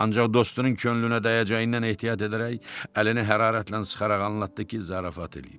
Ancaq dostunun könlünə dəyəcəyindən ehtiyat edərək, əlini hərarətlə sıxaraq anlatdı ki, zarafat eləyir.